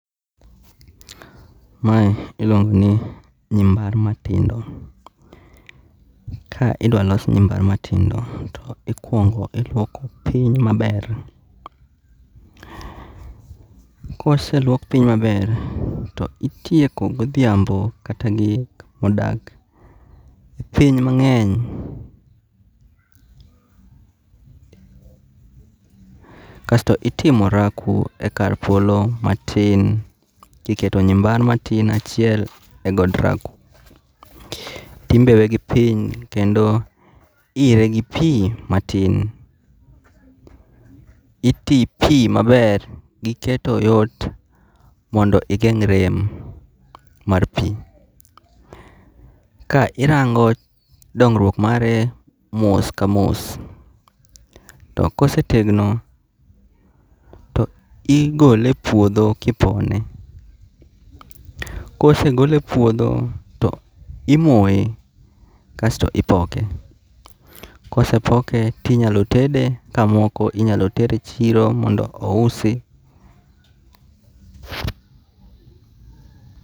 Mae iluongo ni nyi mar matindo. Ka idwa los nyi mar matindo to ikuong lwok piny ma ber, ko oselwok piny ma ber to itieko go odhiambo kata gik ma odak piny mang'eny. Kasto itimo orako e kar polo ma tin ki iketo nya bar ma tin achiel e ot rako. To imbewe gi piny kendo iyiere gi pi ma tin. Pi ma ber gi keto yot mondo igeng' rem mar pi. Ka irango dongruok mare mos ka mos to ko osetegno to igole e puodho ki ipone. Kose golo e puodho to imoyo kasto ipoke. Ka osepoke to inyalo tede ka moko inyalo ter e chiro mondo ousi.